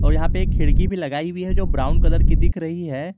यहां पे एक खिड़की भी लगाई हुई है जो ब्राउन कलर की दिख रही है।